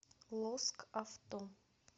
лоск авто